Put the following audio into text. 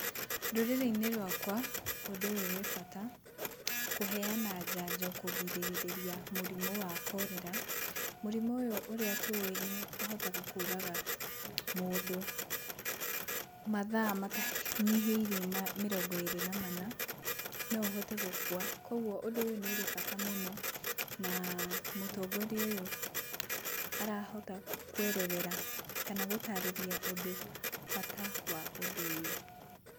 Rũrĩrĩ-inĩ rwakwa ũndũ ũyũ wĩ bata, kũheana njanjo kũgirĩrĩria mũrimũ wa cholera. Mũrimũ ũyũ ũrĩa tũĩ nĩũhotaga kũraga mũndũ mathaa matanyihĩirie mĩrongo ĩrĩ na mana, no ũhote gũkua, kogwo ũndũ ũyũ nĩũrĩ bata mũno. Na mũtongoria ũyũ arahota kwerethera kana gũtarĩria ũndũ, bata wa ũndũ ũyũ.